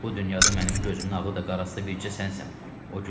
Bu dünyada mənim gözümün ağı da, qarası da bircə sənsən.